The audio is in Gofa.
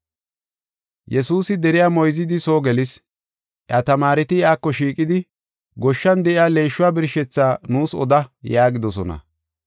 Yesuusi deriya moyzidi soo gelis. Iya tamaareti iyako shiiqidi, “Goshshan de7iya leeshuwa birshethaa nuus oda” yaagidosona.